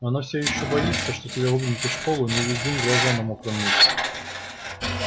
но она все ещё боится что тебя выгонят из школы у нее весь день глаза на мокром месте